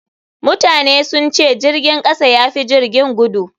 Mutane sun ce jirgin kasa ya fi jirgin gudu.